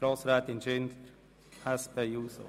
Grossrätin Schindler hat das Wort.